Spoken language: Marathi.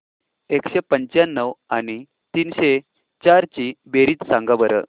एकशे पंच्याण्णव आणि तीनशे चार ची बेरीज सांगा बरं